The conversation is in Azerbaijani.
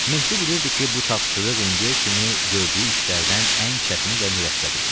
Mehdi bilirdi ki, bu tapşırıq indiyə kimi gördüyü işlərdən ən çətini və mürəkkəbi idi.